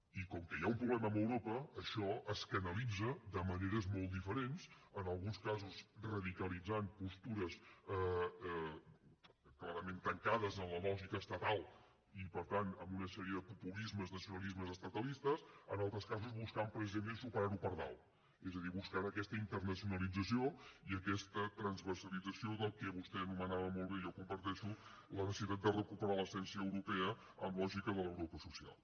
i com que hi ha un problema amb europa això es canalitza de maneres molt diferents en alguns casos radicalitzant postures clarament tancades en la lògica estatal i per tant amb una sèrie de populismes i nacionalismes estatalistes en altres casos buscant precisament superar ho per dalt és a dir buscant aquesta internacionalització i aquesta transversalització del que vostè anomenava molt bé jo ho comparteixo la necessitat de recuperar l’essència europea amb lògica de l’europa social